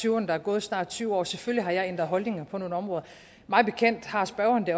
tyverne der er gået snart tyve år selvfølgelig har jeg ændret holdning på nogle områder mig bekendt har spørgeren det